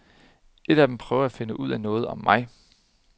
En af dem prøver at finde ud af noget om mig.